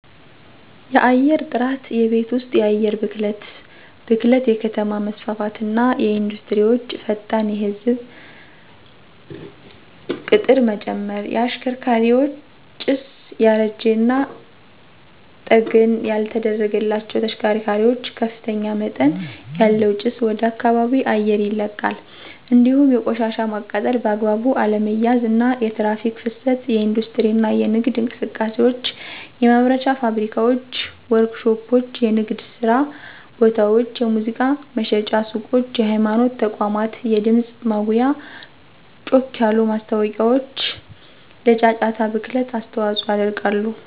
_የአየርጥራት የቤት ወስጥ የአየር ብክለት ብክለት_የከተማ መስፋፋትና ኢንዱስትሪወቸ፣ ፈጣን የህዝብ ቂጥርመጨመር። _የሽከርካሪ ጭስ ያረጂና ጠገና ያልተደረገላቸዉ ተሽከርካሪዋች ከፍተኛመጠን ያለዉ ጭስ ወደከባቢ አየር ይለቃል እንዲሁም የቆሻሻ ማቃጠል በአግባቡ አለመያዝ፣ አና የትራክ ፍሰት የኢንዲስትሪ እና የነግድ እንቅሰቃሴዎች፣ የማምረቻ ፋብሪካዋች፣ ወርክሾፖች፣ የንግድየስራቦታወች፣ የሙዚቃ መሽጫ ሱቆች፣ የሀይማኖት ተቋማት የድምጽ ማጉያወች ጮክ ያሉ ማስታወቂያዎችለጫጫታ ብክለት አስተዋጾ ያደርጋሉ።